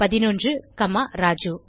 11 காமா ராஜு